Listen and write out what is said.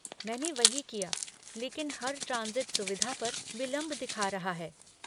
मैंने वही किया लेकिन हर ट्रांसिट सुविधा पर विलंब दिखा रहा है।